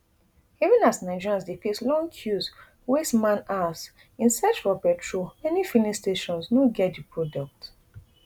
even as nigerians dey face long queues waste man hours in search for petrol many filling stations no get di product